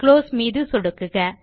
close button மீது சொடுக்குக